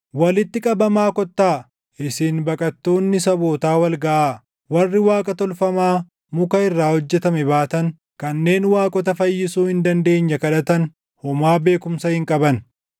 “Walitti qabamaa kottaa; isin baqattoonni sabootaa wal gaʼaa. Warri waaqa tolfamaa muka irraa hojjetame baatan, kanneen waaqota fayyisuu hin dandeenye kadhatan // homaa beekumsa hin qaban.